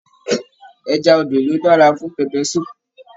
Ẹja odò nì o dára fún pẹpẹ sùúpù.